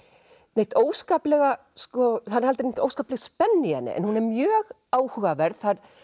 neitt óskaplega það er aldrei neitt óskapleg spenna í henni en hún er mjög áhugaverð